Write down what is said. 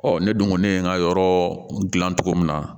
Ɔ ne dun kɔni ye n ka yɔrɔ dilan cogo min na